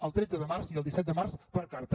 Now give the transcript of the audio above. el tretze de març i el disset de març per carta